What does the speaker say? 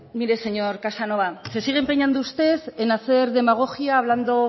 mire señor casanova se sigue empeñando usted en hacer demagogia hablando